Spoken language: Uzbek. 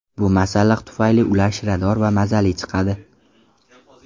Bu masalliq tufayli ular shirador va mazali chiqadi.